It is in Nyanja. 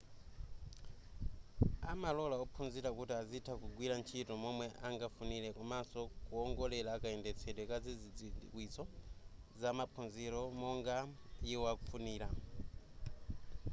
amalola ophunzira kuti azitha kugwira ntchito momwe angafunire komanso kuongolera kayendetsedwe ka zidziwitso za ma maphunzilo monga iwo afunira